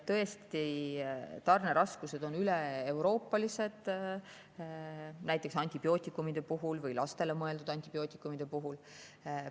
Tõesti, tarneraskused on üleeuroopalised, näiteks antibiootikumide puhul, ka lastele mõeldud antibiootikumide puhul.